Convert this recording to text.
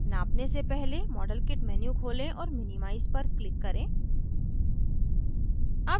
नापने से पहले modelkit menu खोलें और minimize पर click करें